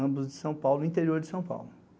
Ambos de São Paulo, interior de São Paulo.